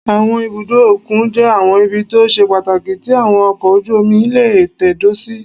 Àwọn ibùdó òkun jẹ́ àwọn ibi tó ṣe pàtàkì tí àwọn ọkọ̀ ojú-omi lè tẹ̀dó sí